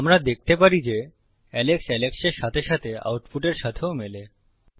আমরা দেখতে পারি যে আলেক্স Alex এর সাথে সাথে আউটপুটের সাথেও মেলে